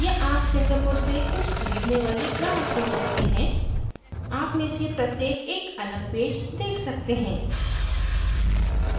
या आप singapore से कुछ खरीदने वाले ग्राहक हो सकते हैं आप में से प्रत्येक एक अलग पेज देख सकते हैं